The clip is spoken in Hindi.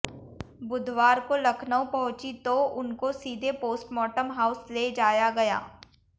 बुधवार को लखनऊ पहुंचीं तो उनको सीधे पोस्टमार्टम हाउस ले जाया गया